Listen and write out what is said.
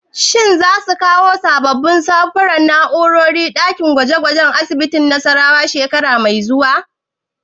Shin za su kawo sabbin samfurin na'urori a ɗakin gwaje gwajen asibitin Nassarawa shekara mai zuwa?